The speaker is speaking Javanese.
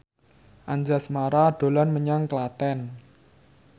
Anjasmara dolan menyang Klaten